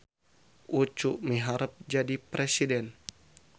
Ucu miharep jadi presiden